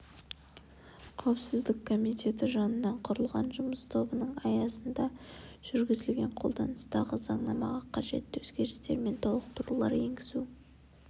қауіпсіздік комитеті жанынан құрылған жұмыс тобының аясында жүргізілген қолданыстағы заңнамаға қажетті өзгерістер мен толықтырулар енгізу